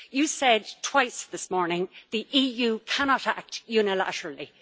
You said twice this morning the EU cannot act unilaterally.